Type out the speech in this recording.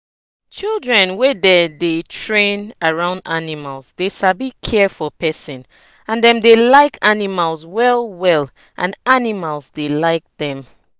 children wey dey train around animal dey sabi care for pesin and dem dey like animal well well and animal dey like dem.